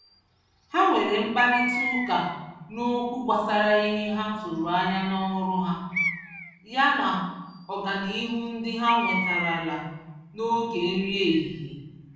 Ha nwere mkparita ụka n'okwu gbasara ihe ha tụrụ ányá n'ọrụ ha, ya na ọganihu ndị ha nwetarala, n'oge nri ehihie.